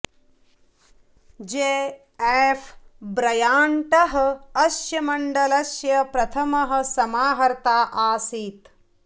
जे F ब्रयाण्टः अस्य मण्डलस्य प्रथमः समाहर्ता आसीत्